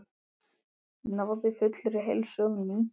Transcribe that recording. Náði fullri heilsu á ný.